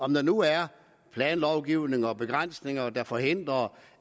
der nu er planlovgivning og begrænsninger der forhindrer